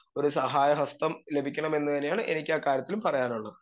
speaker 2 ഒരു സഹായഹസ്തം ലഭിക്കണമെന്ന് തന്നെയാണ് എനിക്കാ കാര്യത്തിലും പറയാനുള്ളത്